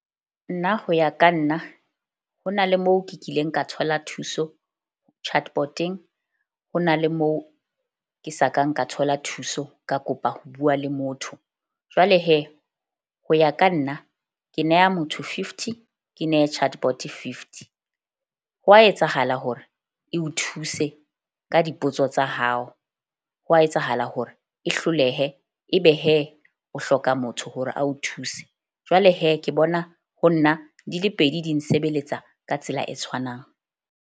Nna ho ya ka nna ho na le moo ke kileng ka thola thuso Chatbot-eng. Ho na le moo ke sa kang ka thola thuso, ka kopa ho bua le motho. Jwale ho ya ka nna ke neha motho fifty ke nehe Chatbot-e fifty. Hwa etsahala hore e o thuse ka dipotso tsa hao, hwa etsahala hore e hlolehe. Ebe o hloka motho hore a o thuse. Jwale ke bona ho nna di le pedi di nsebeletsa ka tsela e tshwanang.